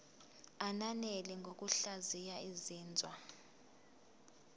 ananele ngokuhlaziya izinzwa